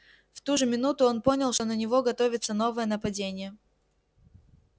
в ту же минуту он понял что на него готовится новое нападение